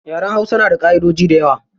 Yaren hausa na da ƙaʼidoji dayawa.